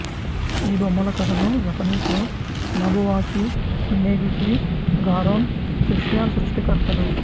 ఈ బొమ్మల కథను జపనీస్ లో నొబువాకి మినేగిషి గారోన్ సుషియా సృష్టికర్తలు